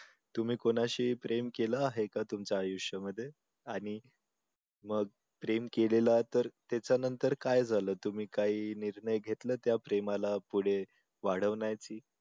तुम्ही कोणाशी प्रेम केलं आहे का तुमच्या आयुष्यामध्ये आणि मग प्रेम केलेलं तर त्याच्या नंतर काय झालं तुम्ही काही निर्णय घेतलं त्या प्रेमाला पुढे वाढवण्याची